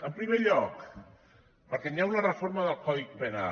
en primer lloc perquè hi ha una reforma del codi penal